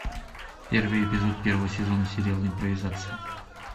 первый эпизод первого сезона сериала импровизация